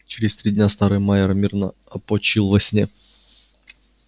через три дня старый майер мирно опочил во сне